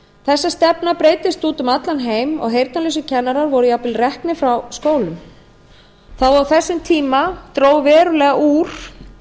þessi stefna breiddist út um allan heim og heyrnarlausir kennarar voru jafnvel reknir frá skólum á þessum tíma dró verulega úr